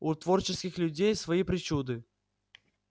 у творческих людей свои причуды